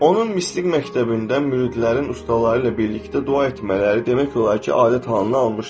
Onun mistik məktəbində müridlərin ustaları ilə birlikdə dua etmələri demək olar ki, adət halını almışdı.